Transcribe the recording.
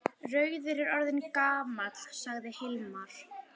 Rauður er orðinn gamall, sagði Hilmar.